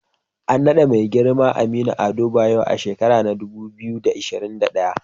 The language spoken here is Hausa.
An naɗa Mai girma Aminu Ado Bayero a shekarar dubu biyu da ashirin da daya.